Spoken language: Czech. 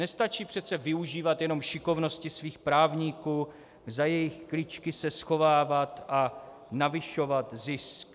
Nestačí přece využívat jenom šikovnosti svých právníků, za jejich kličky se schovávat a navyšovat zisk.